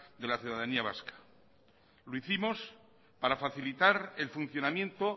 de la ciudadanía vasca lo hicimos para facilitar el funcionamiento